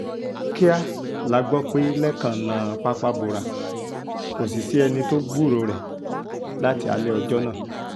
kíá la gbọ́ pé lẹ́kan nà pápá bora kò sì sí ẹni tó gbúròó rẹ̀ láti alẹ́ ọjọ́ náà